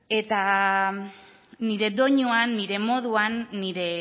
nire doinuan nire moduan nire